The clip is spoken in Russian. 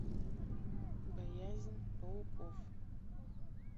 боязнь пауков